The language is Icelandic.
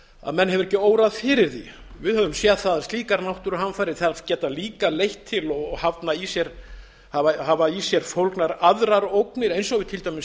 að menn hefur ekki órað fyrir því við höfum séð það að slíkar náttúruhamfarir geta líka leitt til og hafa í sér fólgnar aðrar ógnir eins og við höfum til dæmis